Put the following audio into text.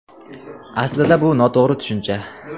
Aslida bu noto‘g‘ri tushuncha.